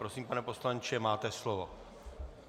Prosím, pane poslanče, máte slovo.